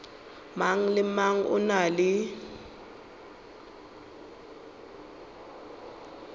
mang le mang o na